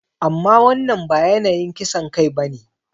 Amma wannan ba yanayin kisan kai ba ne.